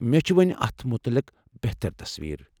مےٚ چھ وۄنہِ اتھ متعلق بہتر تصویر۔